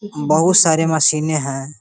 बोहुत सारे मशीने हैं।